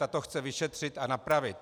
Ta to chce vyšetřit a napravit.